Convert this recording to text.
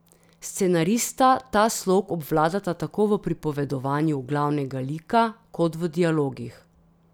Scenarista ta slog obvladata tako v pripovedovanju glavnega lika kot v dialogih.